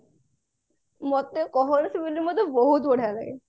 ମତେ କହନି ସେ movie ଟା ମତେ ବହୁତ ବଢିଆ ଲାଗେ